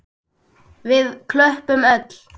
Við klöppum öll.